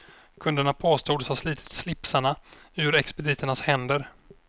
Kunderna påstods ha slitit slipsarna ur expediternas händer.